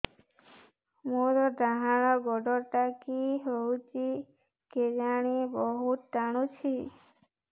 ମୋର୍ ଡାହାଣ୍ ଗୋଡ଼ଟା କି ହଉଚି କେଜାଣେ ବହୁତ୍ ଟାଣୁଛି